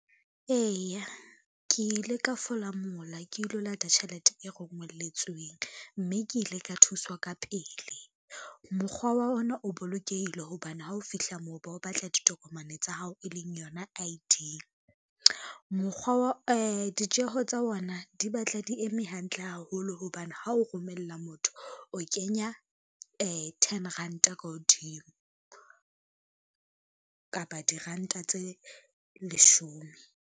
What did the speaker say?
Eya, ke ile ka fola mola ke ilo lata tjhelete e rongelletsweng, mme ke ile ka thuswa ka pele. Mokgwa wa ona o bolokehile hobane ha o fihla moo ba o batla ditokomane tsa hao e leng yona I_D. Ditjeho tsa ona di batla di eme hantle haholo hobane ha o romella motho o kenya ten ranta ka hodimo, kapa diranta tse leshome.